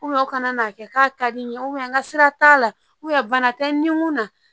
u kana n'a kɛ k'a ka di n ye n ka sira t'a la bana tɛ n kun na